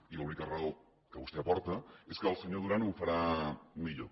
i l’única raó que vostè aporta és que el senyor duran ho farà millor